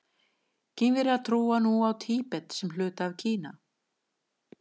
Kínverjar líta nú á Tíbet sem hluta af Kína.